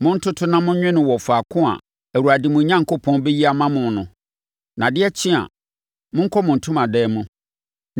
Montoto na monwe no wɔ faako a Awurade, mo Onyankopɔn, bɛyi ama mo no. Na adeɛ kye a, monkɔ mo ntomadan mu.